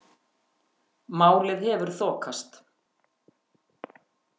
Málið hefur þokast.